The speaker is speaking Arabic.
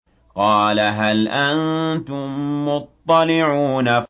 قَالَ هَلْ أَنتُم مُّطَّلِعُونَ